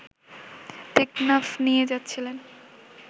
টেকনাফ নিয়ে যাচ্ছিলেন